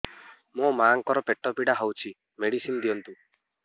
ମୋ ମାଆଙ୍କର ପେଟ ପୀଡା ହଉଛି ମେଡିସିନ ଦିଅନ୍ତୁ